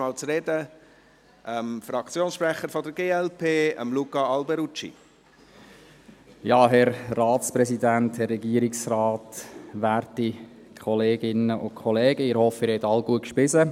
Ich übergebe das Wort dem Fraktionssprechenden der glp, für die undankbare Aufgabe, unmittelbar nach dem Mittagessen sprechen zu müssen.